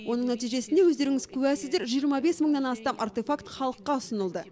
оның нәтижесіне өздеріңіз куәсіздер жиырма бес мыңнан астам артефакт халыққа ұсынылды